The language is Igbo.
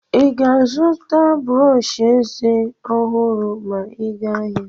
Ị ga-azụta brọsh eze ọhụrụ ma ị aga ahịa?